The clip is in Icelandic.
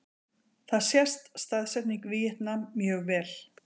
Þar sést staðsetning Víetnam mjög vel.